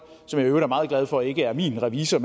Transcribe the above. som jeg i øvrigt er meget glad for ikke er min revisor